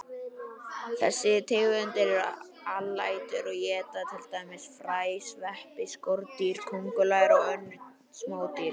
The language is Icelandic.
Þessar tegundir eru alætur og éta til dæmis fræ, sveppi, skordýr, kóngulær og önnur smádýr.